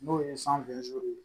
N'o ye ye